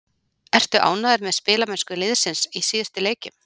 Ertu ánægður með spilamennsku liðsins í síðustu leikjum?